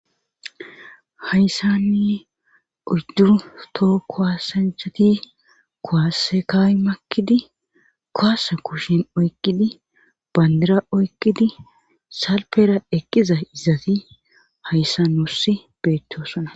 Hayssani oyddu toho kaasanchati kuwaase kaa7i makkidi kuwaase kushen oyqqidi banddira oyqqidi salfera eqqizayssati hayssan nuussi beettoosona.